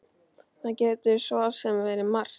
Það getur svo sem verið margt.